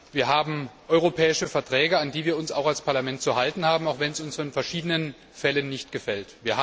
Wir haben europäische Verträge, an die wir uns auch als Parlament zu halten haben, auch wenn es uns in verschiedenen Fällen nicht gefällt.